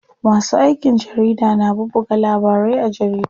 Masu aikin jarida na bubbuga labarai a jaridu.